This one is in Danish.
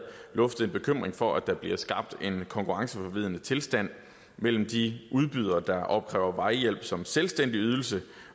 luftet en bekymring for at der bliver skabt en konkurrenceforvridende tilstand mellem de udbydere der opkræver vejhjælp som selvstændig ydelse